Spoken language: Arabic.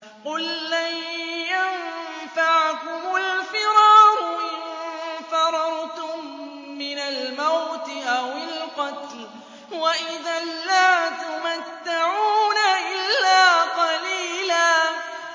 قُل لَّن يَنفَعَكُمُ الْفِرَارُ إِن فَرَرْتُم مِّنَ الْمَوْتِ أَوِ الْقَتْلِ وَإِذًا لَّا تُمَتَّعُونَ إِلَّا قَلِيلًا